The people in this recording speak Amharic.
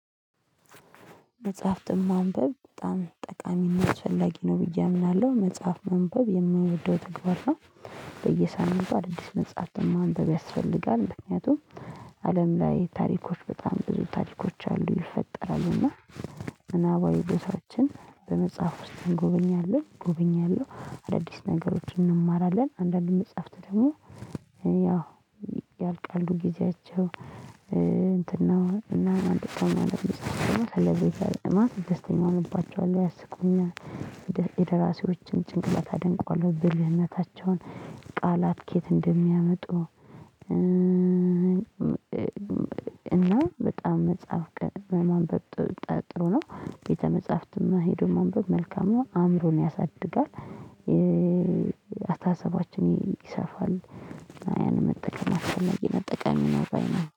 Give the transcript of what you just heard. መጽሐፍትን ማንበብ በጣም ጠቃሚ እና አስፈላጊ ነው ብዬ አምናለሁ መጽሐፍ ማንበብ የምወደው ተግባር ነው በየሳምንቱ አዳዲስ መጽሐፍትን ማንበብ ያስፈልጋል ምክንያቱም አለም ላይ ታሪኮች በጣም ብዙ ታሪኮች አሉ ይፈጠራሉና ምናባዊ ቦታዎችን በመጽሐፍ ውስጥ እንጎበኛለን እጎበኛለሁ አዳዲስ ነገሮችን እንማራለን አንዳንድ መጽሐፍት ደግሞ ያልቃሉ። ጊዜያቸው እንትን ነው። እና ደግሞ ደስተኛ እሆንባቸዋለሁ። ያስቁኛል። የደራሲዎችን ጭንቅላት አደንቀዋለሁ። ብልህነታቸውን፣ ቃላት ከየት እንደሚያመጡ። እና በጣም መጽሐፍ በማንበብ ጥሩ ነው። ቤተ መጽሐፍትንም ሄዶ ማንበብ መልካም። አእምሮን ያሳድጋል። አስተሳሰባችን ይሰፋል። ያን መጠቀም አስፈለጊ ነው። ጠቃሚ ነው ባይ ነኝ